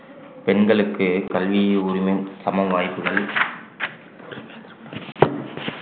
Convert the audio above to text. பெண்களுக்கு கல்வி உரிமையும் சம வாய்ப்புகள்